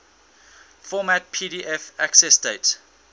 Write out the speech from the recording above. format pdf accessdate